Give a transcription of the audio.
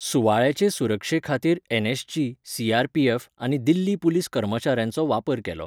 सुवाळ्याचे सुरक्षेखातीर NSG, CRPF, आनी Delhi police कर्मचाऱ्यांचो वापर केलो.